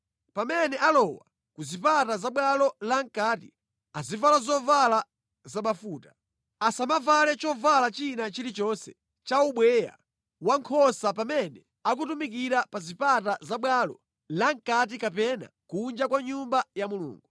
“Pamene alowa ku zipata za bwalo lamʼkati azivala zovala zabafuta. Asamavale chovala china chilichonse cha ubweya wankhosa pamene akutumikira pa zipata za bwalo la mʼkati kapena kunja kwa Nyumba ya Mulungu.